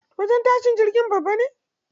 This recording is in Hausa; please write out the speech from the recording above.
Wajen tashin jirgin babba ne.